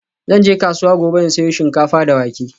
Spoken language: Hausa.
Zan je kasuwa gobe in sayo shinkafa da wake.